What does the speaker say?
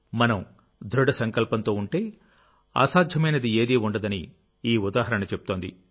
మనం దృఢ సంకల్పంతో ఉంటేఅసాధ్యమైనదిఏదీ ఉండదని ఈ ఉదాహరణ చెప్తోంది